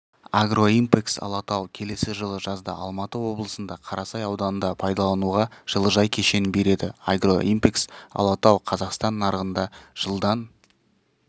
агроимпэкс алатау келесі жылы жазда алматы облысында қарасай ауданында пайдалануға жылыжай кешенін береді агроимпэкс алатау қазақстан нарығында жылдан